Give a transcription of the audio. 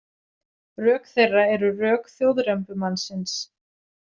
Rök þeirra eru rök þjóðrembumannsins.